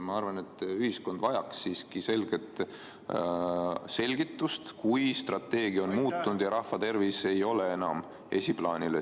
Ma arvan, et ühiskond vajaks siiski selget selgitust, kui strateegia on muutunud ja rahvatervis ei ole enam esiplaanil.